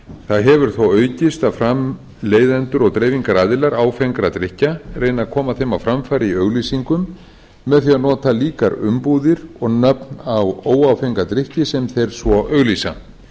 það hefur þó aukist að framleiðendur og dreifingaraðilar áfengra drykkja reyni að koma þeim á framfæri í auglýsingum með því að nota líkar umbúðir og nöfn á óáfenga drykki sem þeir svo auglýsa